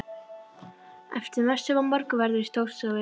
Eftir messu var morgunverður í Stórustofu.